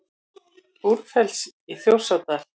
Búrfells í Þjórsárdal.